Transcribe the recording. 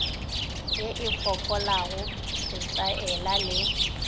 ye e fokolago setaela le